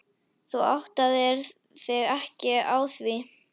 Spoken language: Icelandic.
Þú áttaðir þig ekki á því.